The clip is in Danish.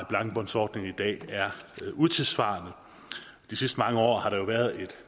blankbåndsordningen i dag er utidssvarende de sidste mange år har der jo været et